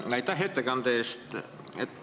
Aitäh ettekande eest!